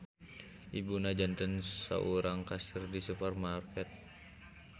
Ibuna janten saurang kasir di supermarket.